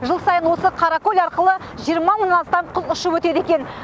жыл сайын осы қаракөл арқылы жиырма мыңнан астам құс ұшып өтеді екен